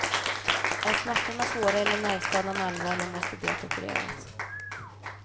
Är smärtorna svåra eller nervskadan allvarlig måste det operaras.